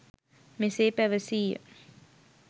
මෙසේ පැවසීය.